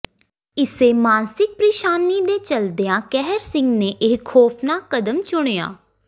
ਇਸੇ ਮਾਨਸਿਕ ਪ੍ਰੇਸ਼ਾਨੀ ਦੇ ਚੱਲਦਿਆਂ ਕਹਿਰ ਸਿੰਘ ਨੇ ਇਹ ਖੌਫਨਾਕ ਕਦਮ ਚੁੱਕਿਆ